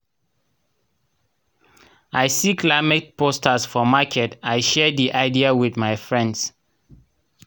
i see climate poster for market i share di idea with my friends